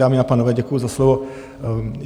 Dámy a pánové, děkuji za slovo.